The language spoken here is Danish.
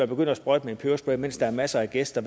begyndte at sprøjte med en peberspray mens der er masser af gæster